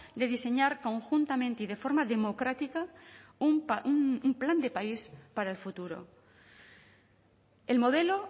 de diseñar conjuntamente y de forma democrática un plan de país para el futuro el modelo